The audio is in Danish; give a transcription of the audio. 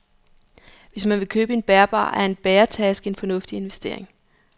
Hvis man vil købe en bærbar, er en bæretaske en fornuftig investering.